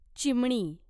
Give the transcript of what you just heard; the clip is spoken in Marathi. चिमणी